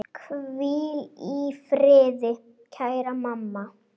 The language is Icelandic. Hvíl í friði, kæra mamma.